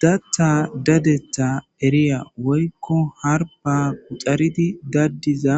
datta dadeta eriya woykko harpa quxaridi daddiza